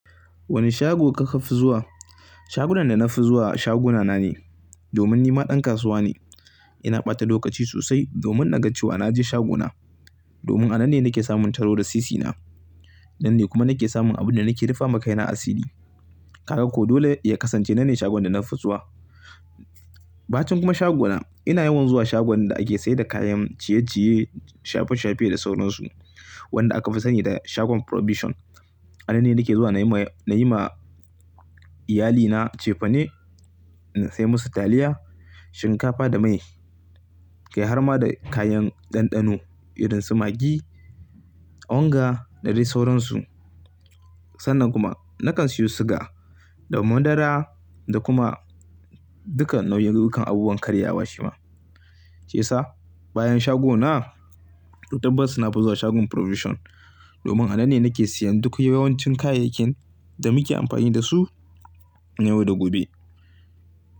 Wane shago kika fi zuwa? Shagunan da na fi zuwa shaguna na ne. Domin ni ma dan kasuwa ne. Ina bata lokaci sosai domin na ga cewa na je shaguna. Domin a nan ne nake samun taru da sisi na. Nan ne kuma nake samun abin da nake rufa ma kaina asiri Kaka ko dole ya kasance nan ne shagon da na fi zuwa. Ba cin kuma shaguna. Ina yawan zuwa shagon da ake sayar da kayan ciye-ciye, shafe-shafe da sauransu. Wanda aka fi sani da shagon Provision. A nan ne nake zuwa na yi ma, na yi ma iyalina cefane, na sai musu taliya, shinkafa da mai. Kai har ma da kayan ɗanɗano irin su Maggi, onga da dai sauransu. Sannan kuma na kan siyo suga da madara da kuma duka nau'in abubuwan karyawa shi ma. Shiyasa bayan shaguna, toh tabbas na fi zuwa shagon Provision. Domin a nan ne nake siyan duk yawancin kayayyakin da muke amfani da su na yau da gobe.